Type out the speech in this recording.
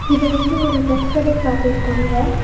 இது வந்து ஒரு ட்ரஸ் கடைய காட்டிர்க்காங்க.